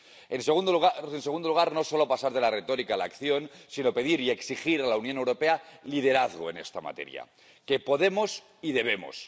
En segundo lugar, no solo pasar de la retórica a la acción, sino pedir y exigir a la Unión Europea liderazgo en esta materia. Que podemos y debemos.